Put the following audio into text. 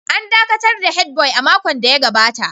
An dakatar da Head boy a makon da ya gabata